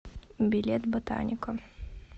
билет ботаника